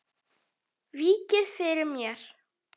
Víkið fyrir mér.